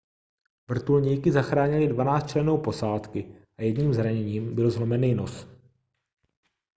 vrtulníky zachránily 12 členů posádky a jediným zraněním byl zlomený nos